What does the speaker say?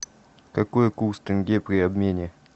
какой курс тенге при обмене